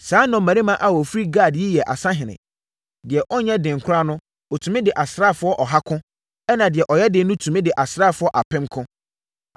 Saa nnɔmmarima a wɔfiri Gad yi yɛ asahene. Deɛ ɔnyɛ den koraa no, ɔtumi ne asraafoɔ ɔha ko, ɛnna deɛ ɔyɛ den no tumi ne asraafoɔ apem ko.